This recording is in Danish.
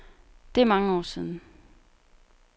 Det er mange år siden.